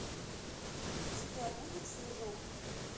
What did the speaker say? у тебя будет снежок